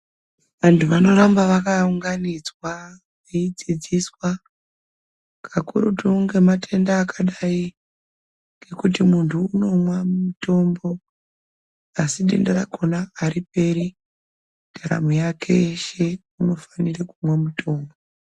Vantu vanoramba vakaunganidzwa veidzidziswa kakurutu ngematenda akadai ngokuti muntu unomwa mutombo asi denda rakona hariperi ndaramo yake yeshe unofanira kumwa mutombo.